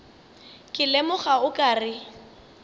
ke lemoga o ka re